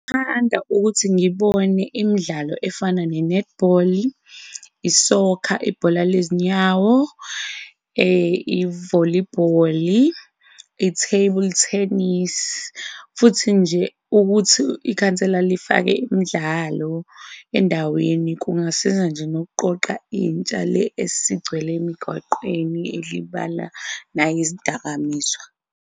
Ngingathanda ukuthi ngibone imidlalo efana nenethibholi, isokha ibhola lezinyawo, ivolibholi, i-table tennis. Futhi nje ukuthi ikhansela lifake imidlalo endaweni kungasiza nje nokuqoqa intsha le esigcwele emigwaqeni ilibala nangezidakamizwa.